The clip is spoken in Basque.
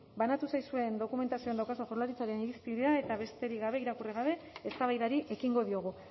banatu zaizuen dokumentazioan daukazue jaurlaritzaren irizpidea eta besterik gabe irakurri gabe eztabaidari ekingo diogu